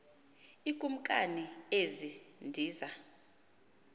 iikumkani ezi ndiza